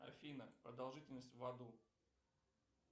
афина продолжительность в аду